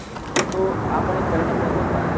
તો આપણ એક current affairs નો એક ભાગ જ છે